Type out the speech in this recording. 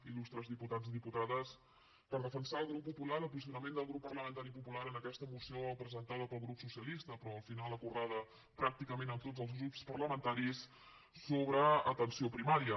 il·lustres diputats i diputades per defensar el grup popular el posicionament del grup parlamentari popular en aquesta moció presentada pel grup socialista però al final acordada pràcticament amb tots els grups parlamentaris sobre atenció primària